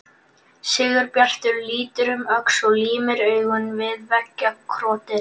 Sigurbjartur lítur um öxl og límir augun við veggjakrotið.